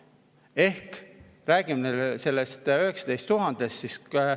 Ehk räägime sellest 19 000-st.